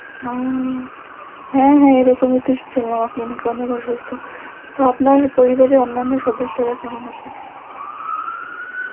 ও হ্যাঁ হ্যাঁ এরকমই তো শুনলাম আপনি নাকি অনেক অসুস্থ, তো আপনার পরিবারের অন্যান্য সদস্যরা কেমন আছে?